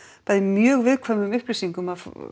bæði mjög viðkvæmum upplýsingum af